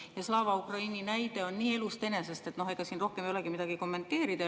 Ja Slava Ukraini näide on nii elust enesest, et ega siin rohkem ei olegi midagi kommenteerida.